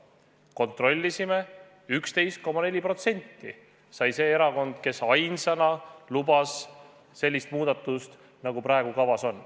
Me kontrollisime, et see erakond, kes ainsana lubas praegu kavas olevat muudatust, sai valimistel 11,4% häältest.